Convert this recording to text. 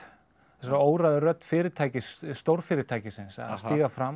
þessari óræðu rödd fyrirtækis stórfyrirtækisins að stíga fram